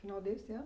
Final deste ano?